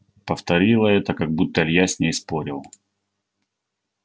повторила это как будто илья с ней спорил